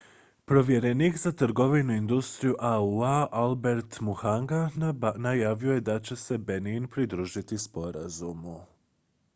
povjerenik za trgovinu i industriju au-a albert muchanga najavio je da će se benin pridružiti sporazumu